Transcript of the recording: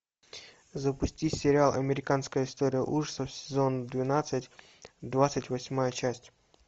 запусти сериал американская история ужасов сезон двенадцать двадцать восьмая часть